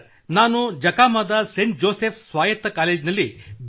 ನಾನು ಜಖಾಮಾದ St Joseph's ಸ್ವಾಯತ್ತ ಕಾಲೇಜ್ನಲ್ಲಿ ಬಿ